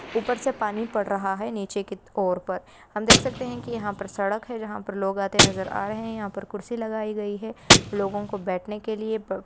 ऊपर से पानी पड़ रहा है नीचे की ओर पर। हम देख सकते हैं कि यहां पर सड़क है जहां पर लोग आते नजर आ रहे हैं यहां पर कुर्सी लगाई गई है। लोगों को बैठने के लिए पर--